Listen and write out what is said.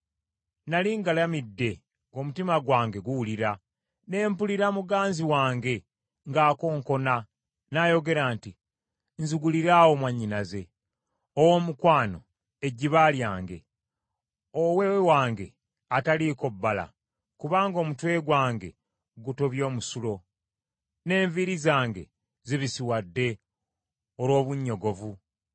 Nnali ngalamidde, ng’omutima gwange guwulira. Ne mpulira muganzi wange ng’akonkona, n’ayogera nti, “Nziguliraawo mwannyinaze, Owoomukwano, ejjiba lyange, owe wange ataliiko bbala, kubanga omutwe gwange gutobye omusulo, n’enviiri zange zibisiwadde olw’obunnyogovu.”